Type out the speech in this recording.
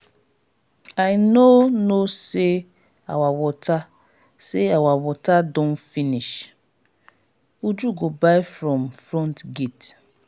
i no know say our water say our water don finish. uju go buy from front gate